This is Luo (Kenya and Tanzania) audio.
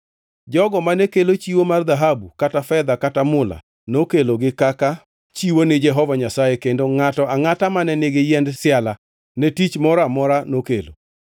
Jogo mane kelo chiwo mar dhahabu kata fedha kata mula nokelogi kaka chiwo ni Jehova Nyasaye kendo ngʼato angʼata mane nigi yiend siala ne tich moro amora nokelo.